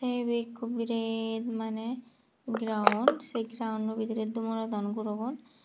te ebe ikku biret mane geraon sey geraonno bidire dumurodon gurogun.